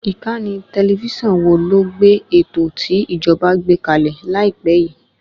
Ìkànnì tẹlifísàn wo ló gbé ètò tí ìjọ̀ba gbé kàlẹ̀ láìpé yìí?